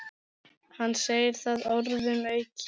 Hann segir það orðum aukið.